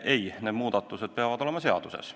Ei, need muudatused peavad olema seaduses.